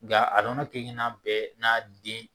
Nga a nɔnɔ kelen kelenna bɛɛ n'a den